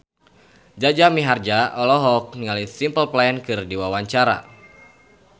Jaja Mihardja olohok ningali Simple Plan keur diwawancara